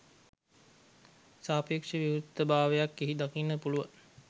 සාපේක්ෂව විවෘත භාවයක් එහි දකින්න පුළුවන්